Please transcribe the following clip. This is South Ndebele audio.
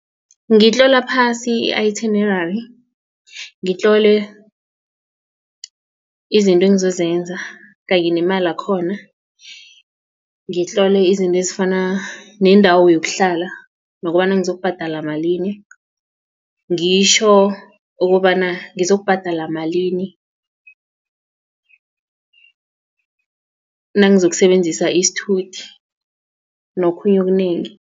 Ngitlola phasi i-itinerary ngitlole izinto engizozenza kanye nemali yakhona ngitlole izinto ezifana nendawo yokuhlala nokobana ngizokubhadala malini ngitjho ukobana ngizokubhadala malini nangizokusebenzisa isithuthi nokhunye okunengi.